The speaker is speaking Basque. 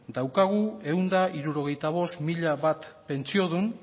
daukagu ehun eta hirurogeita bost mila bat pentsiodun